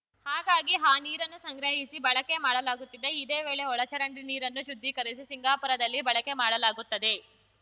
ಹಾಗಾಗಿ ಆ ನೀರನ್ನು ಸಂಗ್ರಹಿಸಿ ಬಳಕೆ ಮಾಡಲಾಗುತ್ತಿದೆ ಇದೇ ವೇಳೆ ಒಳಚರಂಡಿ ನೀರನ್ನೂ ಶುದ್ಧೀಕರಿಸಿ ಸಿಂಗಾಪುರದಲ್ಲಿ ಬಳಕೆ ಮಾಡಲಾಗುತ್ತದೆ